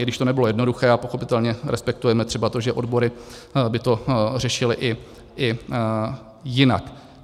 I když to nebylo jednoduché a pochopitelně respektujeme třeba to, že odbory by to řešily i jinak.